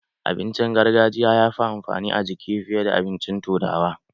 Abincin gargajiya yafi amfani a jiki fiye da abincin turawa.